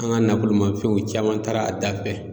An ga nafolomanfɛnw caman taara a da fɛ